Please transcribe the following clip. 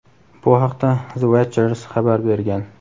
Bu haqda "The Watchers" xabar bergan.